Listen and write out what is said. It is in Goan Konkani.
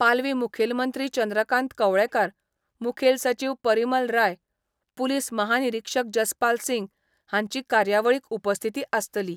पालवी मुखेलमंत्री चंद्रकांत कवळेकार, मुखेल सचिव परिमल राय, पुलीस महानिरीक्षक जसपाल सिंग हांची कार्यावळीक उपस्थिती आसतली.